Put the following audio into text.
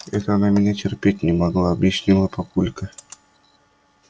это она меня терпеть не могла объяснила папулька